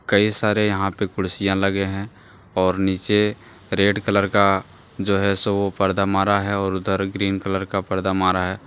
कई सारे यहां पे कुर्सियां लगे हैं और नीचे रेड कलर का जो है सो वो पर्दा मारा है और उधर ग्रीन कलर का पर्दा मारा है।